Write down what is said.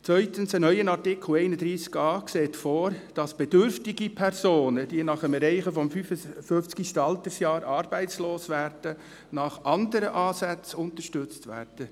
Zweitens sieht ein neuer Artikel 31a vor, dass bedürftige Personen, die nach dem Erreichen des 55. Altersjahres arbeitslos werden, nach anderen Ansätzen unterstützt werden.